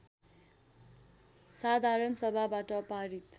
साधारण सभाबाट पारित